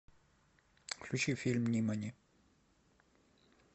включи фильм нимани